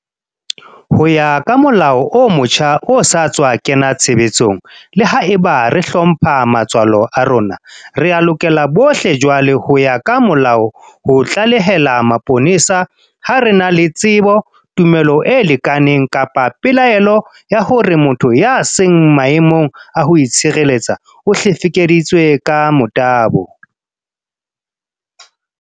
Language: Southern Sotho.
Ho ya ka molao o motjha o sa tswa kena tshebetsong, le haeba re hlompha matswalo a rona, rea lokela bohle jwale ho ya ka molao ho tlalehela mapolesa ha re na le tsebo, tumelo e lekaneng kapa pelaelo ya hore motho ya seng maemong a ho itshireletsa o hlekefeditswe ka motabo.